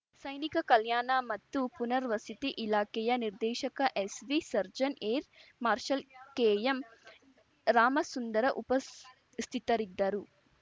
ಸೈನಿಕ ಕಲ್ಯಾಣ ಮತ್ತು ಪುನರ್ವಸತಿ ಇಲಾಖೆಯ ನಿರ್ದೇಶಕ ಎಸ್‌ವಿಸರ್ಜ್ಜನ್‌ ಏರ್‌ ಮಾರ್ಷಲ್‌ ಕೆಎಂರಾಮಸುಂದರ ಉಪಸ್ಥಿತರಿದ್ದರು